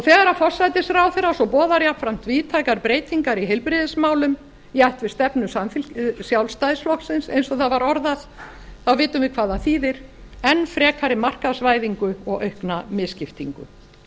þegar forsætisráðherra svo boðar jafnframt víðtækar breytingar í heilbrigðismálum í ætt við stefnu sjálfstæðisflokksins eins og það var orðað þá vitum við hvað það þýðir enn frekari markaðsvæðingu og aukna misskiptingu